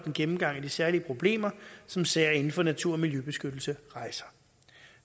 en gennemgang af de særlige problemer som sager inden for natur og miljøbeskyttelse rejser